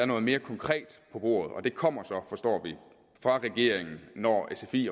noget mere konkret på bordet og det kommer så forstår vi fra regeringen når sfi